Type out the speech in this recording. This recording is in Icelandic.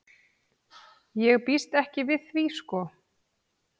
Ég býst ekki við því sko.